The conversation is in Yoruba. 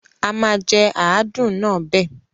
Àma jẹ àádùn náà bẹ.